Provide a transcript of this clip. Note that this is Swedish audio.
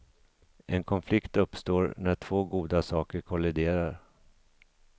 En konflikt uppstår när två goda saker kolliderar.